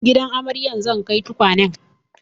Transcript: Gidan amaryar zan kai tukwanen